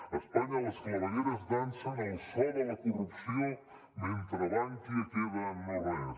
a espanya les clavegueres dansen al so de la corrupció mentre bankia queda en no res